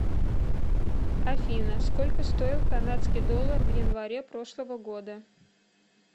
афина сколько стоил канадский доллар в январе прошлого года